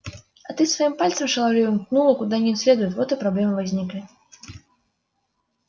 а ты своим пальцем шаловливым ткнула куда не следует вот проблемы и возникли